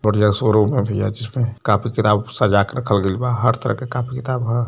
और यह शोरूम ह भैया जिसमें कॉपी किताब सजाके रखल गइल बा। हर तरह के कॉपी किताब ह।